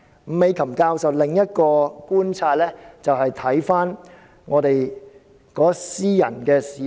伍美琴教授的另一個觀察，還是要看香港的私人市場。